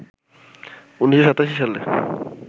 ১৯৮৭ সালে